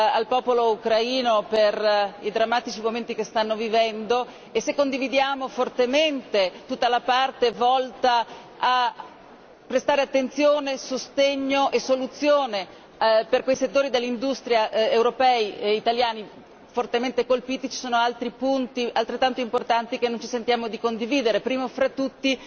al popolo ucraino per i drammatici momenti che stanno vivendo e se condividiamo fortemente tutta la parte volta a prestare attenzione e sostegno e soluzione per quei settori dell'industria europei e italiani fortemente colpiti, ci sono altri punti altrettanto importanti che non ci sentiamo di condividere, primo fra tutti